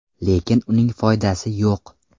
Lekin uning foydasi yo‘q.